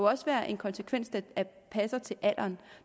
også være en konsekvens der passer til alderen